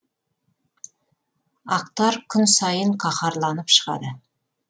ақтар күн сайын қаһарланып шығады